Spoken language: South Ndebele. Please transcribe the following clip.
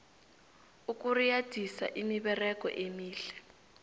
ukuriyadisa imiberego emihle